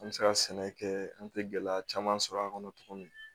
An bɛ se ka sɛnɛ kɛ an tɛ gɛlɛya caman sɔrɔ a kɔnɔ cogo min